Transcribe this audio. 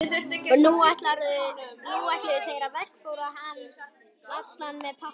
Og nú ætluðu þeir að veggfóðra hann allan með pappa.